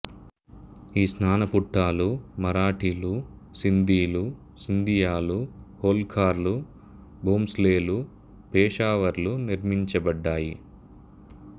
ఈ స్నానఘట్టాలు మరాఠీలు సింధీలు సింధియాలు హోల్కార్లు భోంస్లేలు పెషావర్లు నిర్మించబడ్డాయి